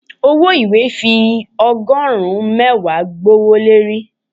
ọwọ ìwé fi ogorun mẹwa gbówólorí.